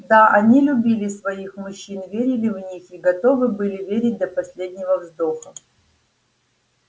да они любили своих мужчин верили в них и готовы были верить до последнего вздоха